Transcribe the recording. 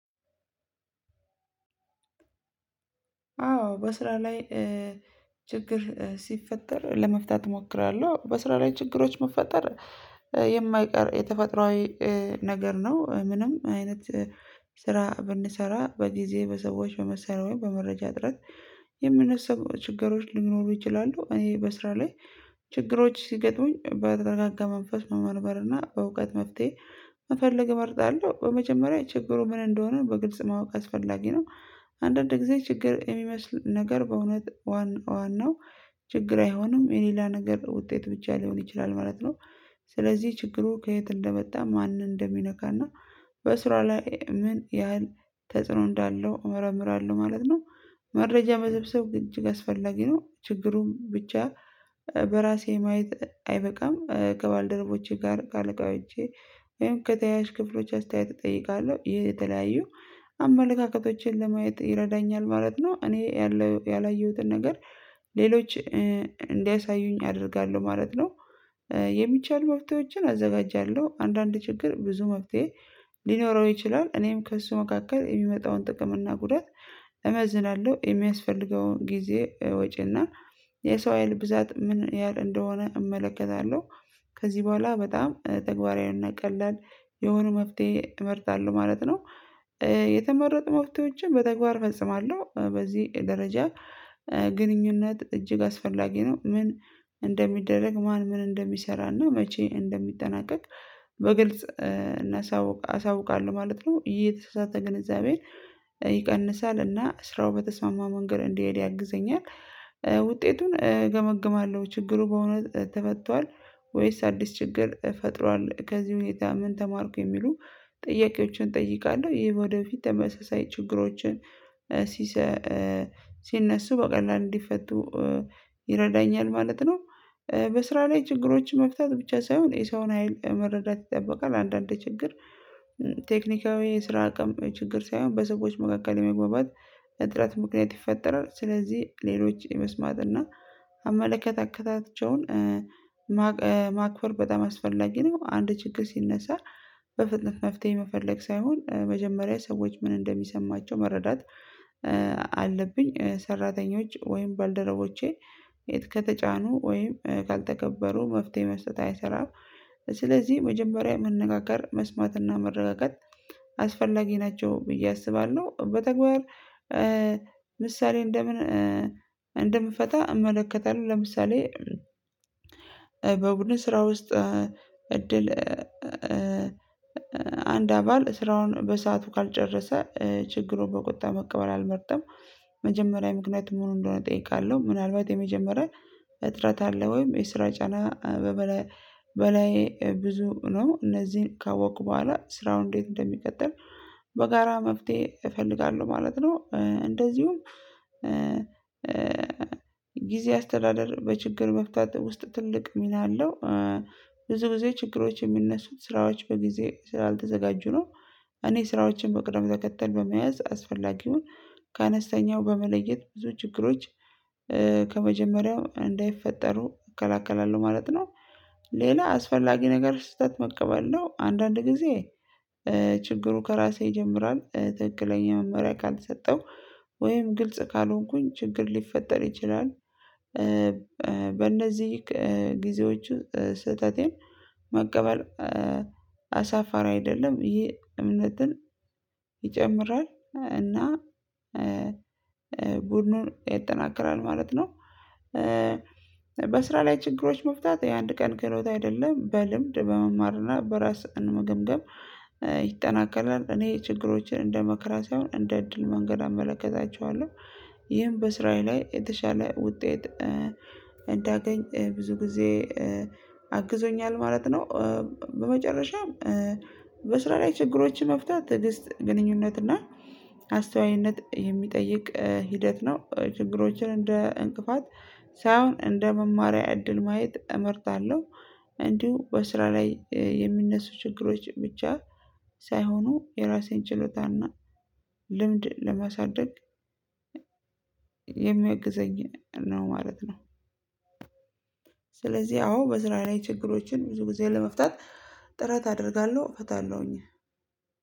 አዎ በስራ ላይ ችግር ሲፈጠር ለመፍታት እሞክራለሁ። በስራ ላይ ችግሮች መፈጠር የማይቀር የተፈጥሮአዊ ነገር ነው። ምንም አይነት ስራ ብንሰራ በጊዜ፣ በሰዎች፣ በመሳሪያ በመረጃ እጥረት የሚነሱ ችግሮች ሊኖሩ ይችላሉ። እኔ በስራ ላይ ችግሮች ሲገጡኝ በተረጋጋ መንፈስ መመርመር እና በእውቀት መፍትሄ መፈለግ እመርጣለሁ። በመጀመሪያ ችግሩ ምን እንደሆነ በግልጽ ማወቅ አስፈላጊ ነው። አንዳንድ ጊዜ ችግር የሚመስል ነገር በእውነት ዋና ዋናው ችግር አይሆንም። የሌላ ነገር ውጤት ብቻ ሊሆን ይችላል ማለት ነው። ስለዚህ ችግሩ ከየት እንደመጣ ማን እንደሚነካና በስራ ላይ ምን ያህል ተጽዕኖ እንዳለው እመረምራለሁ ማለት ነው። መረጃ በሰብሰብ እጅግ አስፈላጊ ነው። ችግሩን ብቻ በራሴ ማየት አይበቃም። ከባልደረቦቼ ጋር ካለቃወቼ ወይም ከተያያዥ ክፍሎች አስተያየት እጠይቃለሁ። የተለያዩ አመለካከቶችን ለማየት ይረዳኛል ማለት ነው። እኔ ያላየሁትን ነገር ሌሎች እንዲያሳዩኝ አደርጋለሁ ማለት ነው። የሚቻል መፍትሄዎችን አዘጋጃለሁ አንዳንድ ችግር ብዙ መፍትሄ ሊኖረው ይችላል። እኔም ከእሱ መካከል የሚመጣውን ጥቅም እና ጉዳት እመዝናለሁ የሚያስፈልገውን ጊዜ ወጪና የሰው ሀይል ብዛት ምን ያህል እንደሆነ እመለከታለሁ። ከዚህ በኋላ በጣም ተግባራዊና ቀላል የሆነ መፍትሄ እመርጣለሁ ማለት ነው። የተመረጡ መፍትሄዎችን በተግባር ፈጽማለሁ በዚህ ደረጃ ግንኙነት እጅግ አስፈላጊ ነው። ምን እንደሚደረግ ማን ምን እንደሚሰራና መቼ እንደሚጠናቀቅ በግልጽ እናሳውቅ አሳውቃለሁ ማለት ነው። የተሳሳተ ግንዛቤን ይቀንሳል እና ስራው በተስማማ መንገድ እንዲሄድ ያግዘኛል ውጤቱን እገመግማለሁ ችግሩ በእውነት ተፈቷል? ወይስ አዲስ ችግር ፈጥሯል? ከዚህ ሁኔታ ምን ተማርኩ የሚሉ ጥያቄዎችን እጠይቃለሁ። ይሄ ወደፊት ተመሳሳይ ችግሮችን ሲሰ ሲነሱ በቀላሉ እንዲፈቱ ይረዳኛል ማለት ነው። በስራ ላይ ችግሮች መፍታት ብቻ ሳይሆን የሰውን ሀይል መረዳት ይጠበቃል። አንዳንድ ችግር ቴክኒካዊ ስራ አቅም ችግር ሳይሆን በሰዎች መካከል የመግባባት እጥረት ምክንያት ይፈጠራል። ስለዚህ ሌሎች የመስማት እና አመለካከትከታቸውን ማክበር በጣም አስፈላጊ ነው። አንድ ችግር ሲነሳ በፍጥነት መፍትሄ መፈለግ ሳይሆን መጀመሪያ ሰዎች ምን እንደሚሰማቸው መረዳት አለብኝ ሰራተኞች ወይም ባልደረቦቼ የት ከተጫኑ ወይም ካልተከበሩ መፍትሄ መስጠት አይሰራም ስለዚህ መጀመሪያ መነጋገር መስማትና መረጋጋት አስፈላጊ ናቸው ብዬ አስባለሁ። በተግባር ምሳሌ እንደምን እንደምፈታ እመለከታለሁ ለምሳሌ በቡድን ስራ ውስጥ እድል አንድ አባል ስራውን በሰአቱ ካልጨረሰ ችግሩን በቁጣ መቀበል አልመርጥም። መጀመሪያ ምክንያቱ ምን እንደሆነ እጠይቃለሁ ምናልባት የመጀመሪያ እጥረት አለ ወይም የስራ ጫና በበላይ በላይ ብዙ ነው? እነዚህን ካወቅኩ በኋላ ስራው እንዴት እንደሚቀጠል በጋራ መፍትሄ እፈልጋለሁ ማለት ነው። እንደዚሁም ጊዜ አስተዳደር በችግር መፍታት ውስጥ ትልቅ ሚና አለው። ብዙ ጊዜ ችግሮች የሚነሱት ስራዎች በጊዜ ስላልተዘጋጁ ነው እኔ ስራዎችን መቅደም ተከተል በመያዝ አስፈላጊውን ከአነስተኛው በመለየት ብዙ ችግሮች ከመጀመሪያው እንዳይፈጠሩ እከላከላለሁ ማለት ነው። ሌላ አስፈላጊ ነገር ስህተት መቀበል ነው። አንዳንድ ጊዜ ችግሩ ከራሴ ይጀምራል ትክክለኛ መመሪያ ካልሰጠው ወይም ግልጽ ካልሆንኩኝ ችግር ሊፈጠር ይችላል። በእነዚህ ጊዜዎቹ ስህተቴን መቀበል አሳፋሪ አይደለም። ይህ እምነትን ይጨምራል። እና ቡድኑን ያጠናክራል ማለት ነው። በስራ ላይ ችግሮች መፍታት የአንድ ቀን ክህሎት አይደለም። በልምድ በመማርና በራስ መገምገም ይጠናከራል። እኔ ችግሮችን እንደ መከራ ሳይሆን እንደ እድል መንገድ እመለከታቸዋለሁ። ይህም በስራዬ ላይ የተሻለ ውጤት እንዳገኝ ብዙ ጊዜ አግዞኛል ማለት ነው። በመጨረሻም በስራ ላይ ችግሮችን መፍታት ትዕግስት፣ ግንኙነት እና አስተዋይነት የሚጠይቅ ሂደት ነው ችግሮችን እንደ እንቅፋት ሳይሆን እንደ መማሪያ እድል ማየት እመርጣለሁ። እንዲሁ በስራ ላይ የሚነሱ ችግሮች ብቻ ሳይሆኑ የራሴን ችሎታና ልምድ ለማሳደግ የሚያግዘኝ ነው ማለት ነው። ስለዚህ አዎ በስራ ላይ ችግሮችን ብዙ ጊዜ ለመፍታት ጥረት አደርጋለሁ። እፈታለሁኝ።